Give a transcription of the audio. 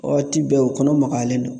Waati bɛɛ u kɔnɔ magayalen don.